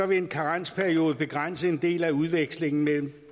vil en karensperiode begrænse en del af udvekslingen mellem